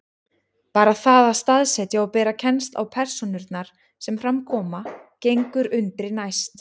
Bara það að staðsetja og bera kennsl á persónurnar sem fram koma gengur undri næst.